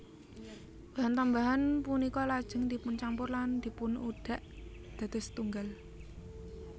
Bahan tambahan punika lajeng dipuncampur lan dipunudhak dados setunggal